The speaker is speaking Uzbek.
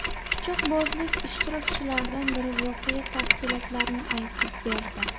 Pichoqbozlik ishtirokchilaridan biri voqea tafsilotlarini aytib berdi .